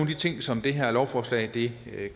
de ting som det her lovforslag